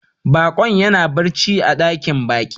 Bakon ya na barci a dakin baki.